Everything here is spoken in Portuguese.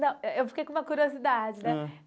Não, eu fiquei com uma curiosidade, né?